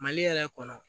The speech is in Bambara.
Mali yɛrɛ kɔnɔ